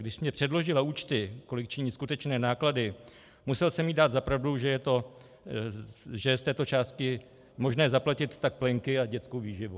Když mi předložila účty, kolik činí skutečné náklady, musel jsem jí dát za pravdu, že je z této částky možné zaplatit tak plenky a dětskou výživu.